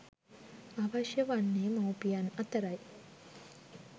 අවශ්‍ය වන්නේ මවුපියන් අතර යි.